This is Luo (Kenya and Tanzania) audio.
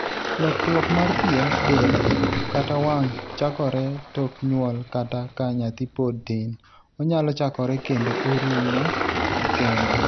Lokruok mar pien del kata wang' chakore tok nyuol kata ka nyathi pod tin, onyalo chakore kendo oruomo kende.